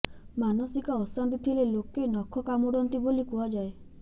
ମାନସିକ ଅଶାନ୍ତି ଥିଲେ ଲୋକେ ନଖ କାମୁଡନ୍ତି ବୋଲି କୁହାଯାଏ